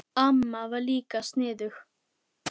Amma var líka sniðug.